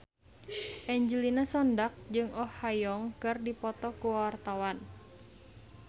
Angelina Sondakh jeung Oh Ha Young keur dipoto ku wartawan